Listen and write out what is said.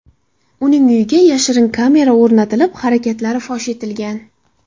Uning uyiga yashirin kamera o‘rnatilib, harakatlari fosh etilgan.